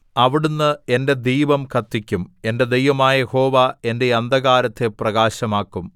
അവിടുന്ന് എന്റെ ദീപം കത്തിക്കും എന്റെ ദൈവമായ യഹോവ എന്റെ അന്ധകാരത്തെ പ്രകാശമാക്കും